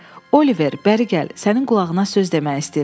Oliver, bəri gəl, sənin qulağına söz demək istəyirəm.